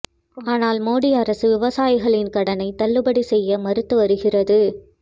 ஆனால் மோடி அரசு விவசாயிகளின் கடனை தள்ளுபடி செய்ய மறுத்து வருகிறது